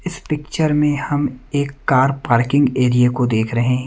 इस पिक्चर में हम एक कार पार्किंग एरिया को देख रहे हैं।